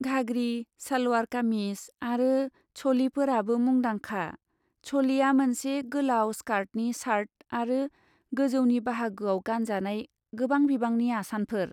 घाग्रि, सालवार कामिज आरो चलिफोराबो मुंदांखा। चलिया मोनसे गोलाव स्कार्टनि शार्ट आरो गौजौनि बाहागोआव गानजानाय गोबां बिबांनि आसानफोर।